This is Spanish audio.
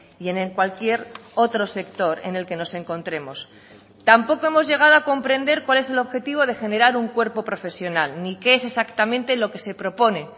y en cualquier otro sector en el que nos encontremos tampoco hemos llegado a comprender cuál es el objetivo de generar un cuerpo profesional ni qué es exactamente lo que se propone